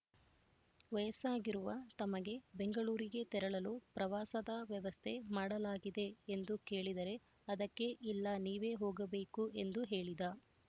ವಯಸ್ಸಾಗಿರುವ ತಮಗೆ ಬೆಂಗಳೂರಿಗೆ ತೆರಳಲು ಪ್ರವಾಸದ ವ್ಯವಸ್ಥೆ ಮಾಡಲಾಗಿದೆ ಎಂದು ಕೇಳಿದರೆ ಅದಕ್ಕೆ ಇಲ್ಲ ನೀವೇ ಹೋಗಬೇಕು ಎಂದು ಹೇಳಿದ